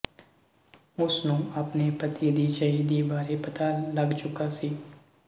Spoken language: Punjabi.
ਉਸ ਨੂੰ ਆਪਣੇ ਪਤੀ ਦੀ ਸ਼ਹੀਦੀ ਵਾਰੇ ਪਤਾ ਲੱਗ ਚੁੱਕਾ ਸੀ